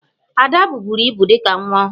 Ada buburu ibu dị ka nwa ọhụrụ